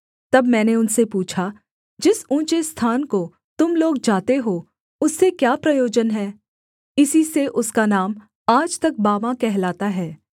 तब मैंने उनसे पूछा जिस ऊँचे स्थान को तुम लोग जाते हो उससे क्या प्रयोजन है इसी से उसका नाम आज तक बामा कहलाता है